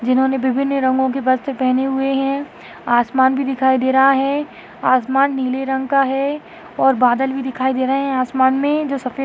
जिह्नोने विभिन्न रंगो के वस्त्र पहने हुए हैं आसमान भी दिखायी दे रहा हैं आसमान नीले रंग का हैं और बादल भी दिखायी दे रहे हैं आसमान में जो सफे--